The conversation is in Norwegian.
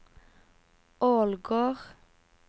Ålgård